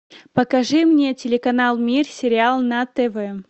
покажи мне телеканал мир сериал на тв